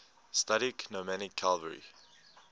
studied nomadic cavalry